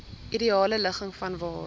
ideale ligging vanwaar